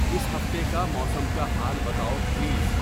اس ہفتے کا موسم کا حال بتاؤ پلیز